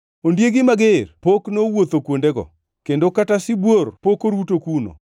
Ondiegi mager pok nowuotho kuondego, kendo kata sibuor pok oruto kuno.